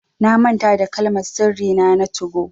Na manta da Kalmar sirri nà na 2go.